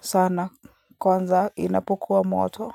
sana. Kwanza inapokuwa moto.